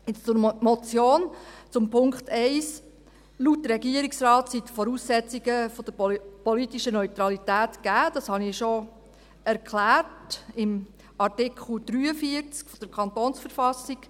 Nun zur Motion, zum Punkt 1: Laut Regierungsrat sind die Voraussetzungen der politischen Neutralität im Artikel 43 KV gegeben, das habe ich bereits erklärt.